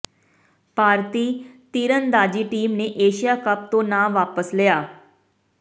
ਭਾਰਤੀ ਤੀਰਅੰਦਾਜ਼ੀ ਟੀਮ ਨੇ Asia cup ਤੋਂ ਨਾਂ ਵਾਪਸ ਲਿਆ